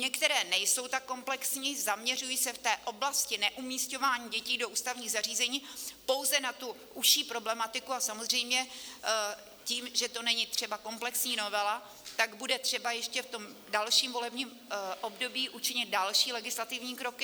Některé nejsou tak komplexní, zaměřují se v té oblasti neumisťování dětí do ústavních zařízení pouze na tu užší problematiku a samozřejmě tím, že to není třeba komplexní novela, tak bude třeba ještě v tom dalším volebním období učinit další legislativní kroky.